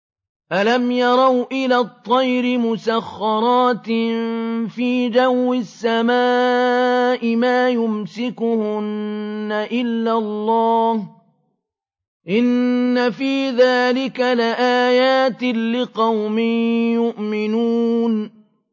أَلَمْ يَرَوْا إِلَى الطَّيْرِ مُسَخَّرَاتٍ فِي جَوِّ السَّمَاءِ مَا يُمْسِكُهُنَّ إِلَّا اللَّهُ ۗ إِنَّ فِي ذَٰلِكَ لَآيَاتٍ لِّقَوْمٍ يُؤْمِنُونَ